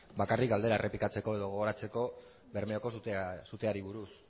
bakarrik galdera errepikatzeko edo gogoratzeko bermeoko suteari buruz